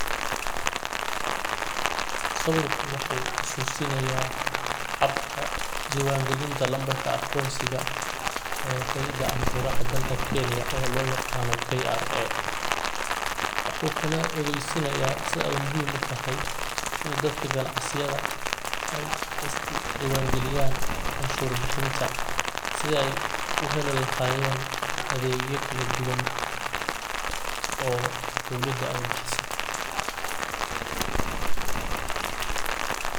Sawirku wuxu xasusinaya habka diwangilinta nambarka aqonsiga ee hay'ada canshuraha dalkani Kenya ee loyaqano KRA, wuxu kale oo ogeysinaya sida ey muhiim utahay inii dadka ganacsiyada ey iskudiwan galiyan canshur bixinta sida ey uheli lahayen adegya kaladuwan oo dawlada ey bixiso.